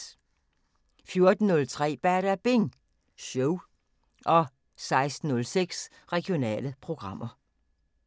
14:03: Badabing Show 16:06: Regionale programmer